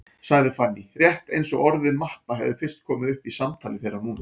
sagði Fanný, rétt eins og orðið mappa hefði fyrst komið upp í samtali þeirra núna.